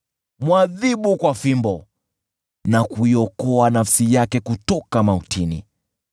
Mwadhibu kwa fimbo na kuiokoa nafsi yake kutoka mautini.